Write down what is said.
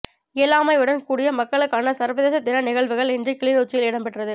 இயலாமையுடன் கூடிய மக்களுக்கான சர்வதேச தின நிகழ்வுகள் இன்று கிளிநொச்சியில் இடம்பெற்றது